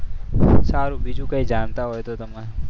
સારું બીજું કંઈ જાણતા હોય તો તમે.